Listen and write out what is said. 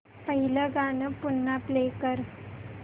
पहिलं गाणं पुन्हा प्ले कर